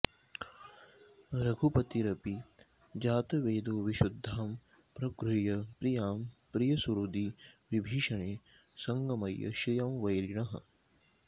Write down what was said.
रघुपतिरपि जातवेदोविशुद्धां प्रगृह्य प्रियां प्रियसुहृदि विभीषणे संगमय्य श्रियं वैरिणः